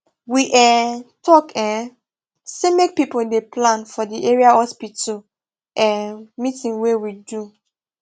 we um talk um say make people dey plan for the area hospital um meeting wey we do